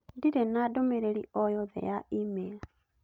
ndirĩ na ndũmĩrĩri o yothe ya e-mail